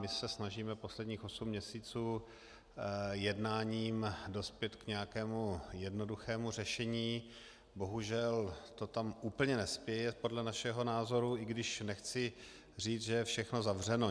My se snažíme posledních osm měsíců jednáním dospět k nějakému jednoduchému řešení, bohužel to tam úplně nespěje podle našeho názoru, i když nechci říct, že je všechno zavřeno.